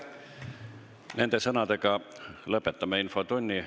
Nende sõnadega lõpetame infotunni.